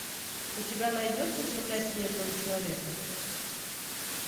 у тебя найдется земля снежного человека